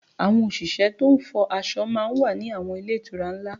Àwọn òṣìṣẹ́ to ń fọ aṣọ náà wà ní àwọn ilé ìtura ńlá